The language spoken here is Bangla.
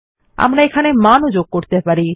আমরা এগুলিকে মান যোগ করতে পারি